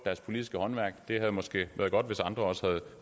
politiske håndværk det havde måske været godt hvis andre også havde